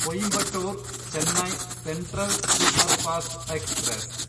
Coimbatore Chennai central superfast express